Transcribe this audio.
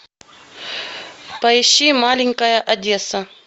поищи маленькая одесса